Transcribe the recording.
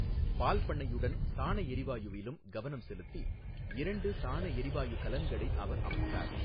பால்பண்ணையுடன் சாணஎரிவாயுவிலும் கவனம் செலுத்தி, இரண்டு சாண எரிவாயு கலன்களை அவர் அமைத்தார்.